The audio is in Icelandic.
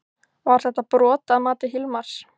Var þetta brot að mati Hilmars?